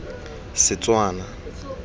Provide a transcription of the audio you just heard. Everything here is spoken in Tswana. setswana